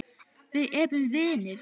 Við erum vinir.